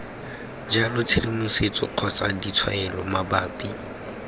jalo tshedimosetso kgotsa ditshwaelo mabapi